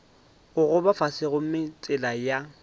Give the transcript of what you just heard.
gogoba fase gomme tsela ya